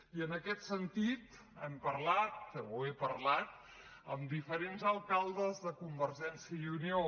i en aquest sentit hem parlat o he parlat amb diferents alcaldes de convergència i unió